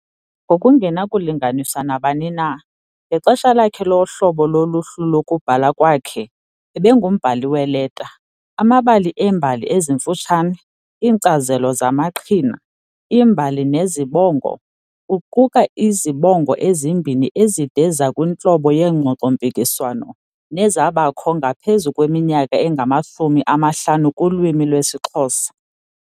Ngokungenakulinganiswa nabani na, ngexesha lakhe lohlobo loluhlu lokubhala kwakhe, ebengumbhali weeleta, amabali eembali ezimfutshane, iinkcazelo zamaqhina, iimbali nezibongo, kuquka izibongo ezimbini ezide ezikwintlobo yeengxoxo-mpikiswano nezabakho ngaphezu kweminyaka engamashumi amahlanu kulwimi lwesiXhosa.